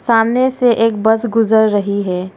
सामने से एक बस गुजर रही है।